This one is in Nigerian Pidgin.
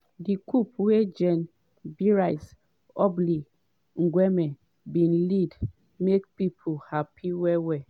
di coup wey gen brice oligui ngeuma bin lead make pipo happy well-well.